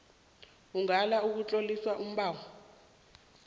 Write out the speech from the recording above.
ungala ukutlolisa umbawi